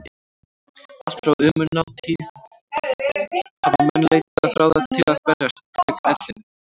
Allt frá ómunatíð hafa menn leitað ráða til að berjast gegn ellinni.